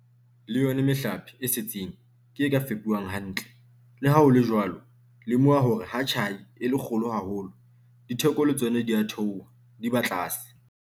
Le yona mehlape e setseng ke e ka fepuwang hantle. Le ha ho le jwalo, lemoha hore ha tjhai e le kgolo haholo, ditheko le tsona di a theoha, di ba tlase.